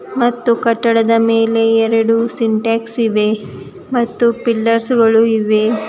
ಮತ್ತು ಕಟ್ಟಡದ ಮೇಲೆ ಎರಡು ಸಿಂಟೆಕ್ಸ್ ಇವೆ ಮತ್ತು ಪಿಲ್ಲರ್ಸ್ ಗಳು ಇವೆ.